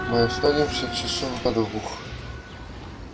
мы останемся часов до двух